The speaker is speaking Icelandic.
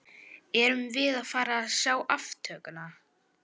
Erum við að fara að sjá aftökuna?